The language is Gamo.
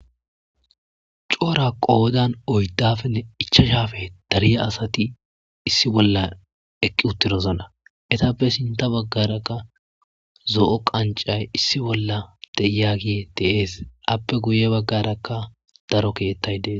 coora qoodan oyddafenne ichashafe dariya asati issi bolla eqqi uttidozana etappe sinta baggarakka zo7o qancay issi bolla deyagi deees appe guye baggarakka daro keettay dees